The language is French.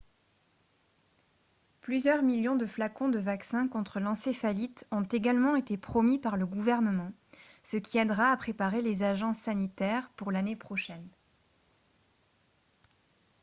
plusieurs millions de flacons de vaccin contre l'encéphalite ont également été promis par le gouvernement ce qui aidera à préparer les agences sanitaires pour l'année prochaine